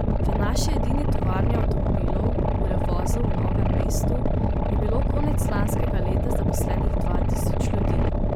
V naši edini tovarni avtomobilov, v Revozu v Novem mestu, je bilo konec lanskega leta zaposlenih dva tisoč ljudi.